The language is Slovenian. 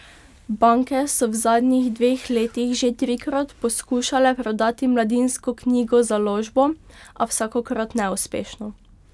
Banke so v zadnjih dveh letih že trikrat poskušale prodati Mladinsko knjigo Založbo, a vsakokrat neuspešno.